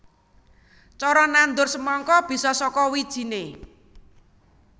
Cara nandur semangka bisa saka wijiné